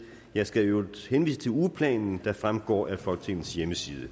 jeg skal i øvrigt henvise til ugeplanen der fremgår af folketingets hjemmeside